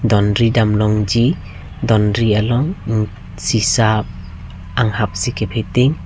donri dam long ji donri along sisa anghap si ka bheting .